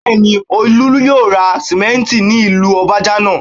Bẹ́ẹ̀ni, Olú yóò ra sánmẹ́ńtì ní ìlú Ọbajànà